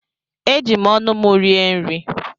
Eji m ọnụ m rie nri.